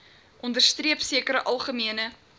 onderstreep sekere algemene